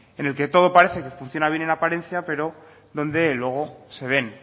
en el que todo parece que funciona bien en apariencia pero donde luego se ven